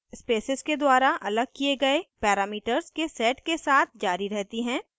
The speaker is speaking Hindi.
spaces के द्वारा अलग किये गए parameters के set के साथ जारी रहती हैं